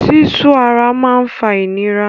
Sísu ara máa ń fa ìnira.